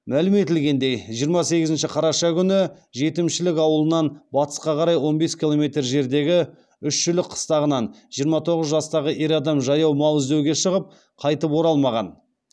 мәлім етілгендей жиырма сегізінші қараша күні жетімшілік ауылынан батысқа қарай он бес километр жердегі үшшілік қыстағынан жиырма тоғыз жастағы ер адам жаяу мал іздеуге шығып қайтып оралмаған